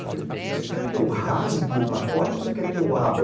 Eu falei, você quer que eu rasgue o pacote ou você quer que eu abra?